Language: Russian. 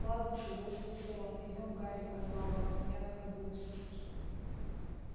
ладно согласился рон идём гарри позвал он я на ходу с